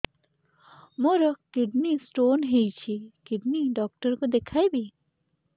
ମୋର kidney stone ହେଇଛି kidney doctor କୁ ଦେଖାଇବି